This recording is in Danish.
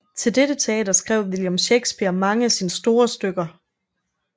Til dette teater skrev William Shakespeare mange af sine store stykker